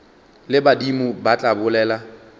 le badimo ba tla bolela